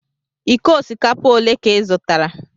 Iko osikapa ole ka ị zụtara?